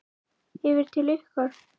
Yfir til ykkar?